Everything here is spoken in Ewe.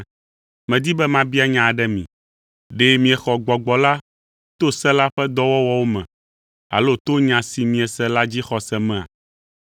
Medi be mabia nya aɖe mi: Ɖe miexɔ Gbɔgbɔ la to se la ƒe dɔwɔwɔwo me, alo to nya si miese la dzixɔse mea?